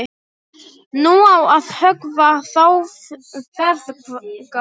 Nú á að höggva þá feðga.